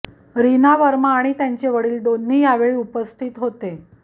रीना वर्मा आणि त्यांचे वडील दोन्ही यावेळी उपस्थित होते